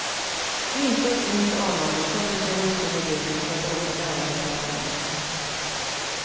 Intet ont anande sätter sig hustrun i bilen för att åka ett ärende till affären.